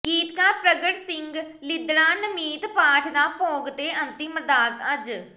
ਗੀਤਕਾਰ ਪ੍ਰਗਟ ਸਿੰਘ ਲਿੱਦੜਾਂ ਨਮਿੱਤ ਪਾਠ ਦਾ ਭੋਗ ਤੇ ਅੰਤਿਮ ਅਰਦਾਸ ਅੱਜ